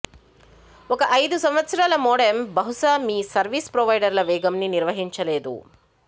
ఒక ఐదు సంవత్సరాల మోడెమ్ బహుశా మీ సర్వీసు ప్రొవైడర్ల వేగంని నిర్వహించలేదు